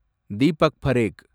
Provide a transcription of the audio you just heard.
Deepak Parekh